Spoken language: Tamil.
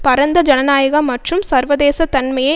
பரந்த ஜனநாயக மற்றும் சர்வதேச தன்மையை